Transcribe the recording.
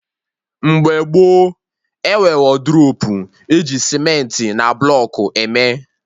Mgbe gboo, enwe wodrobu eji cementị na blọkụ eme